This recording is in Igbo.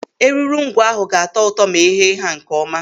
Eruru ngwọ ahụ ga-atọ ụtọ ma e ghee ha nkeọma.